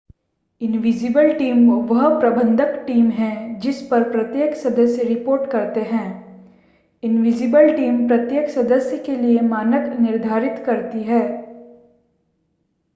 invisible team वह प्रबंधन team है जिस पर प्रत्येक सदस्य रिपोर्ट करते हैं इनविजिबल टीम प्रत्येक सदस्य के लिए मानक निर्धारित करती है